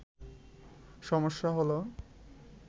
সমস্যা হলো